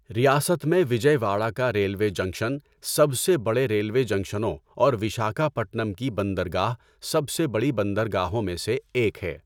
ریاست میں وجئے واڑہ کا ریلوے جنکشن سب سے بڑے ریلوے جنکشنوں اور وشاکھاپٹنم کی بندرگاہ سب سے بڑی بندرگاہوں میں سے ایک ہے۔